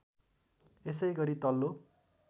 यसै गरी तल्लो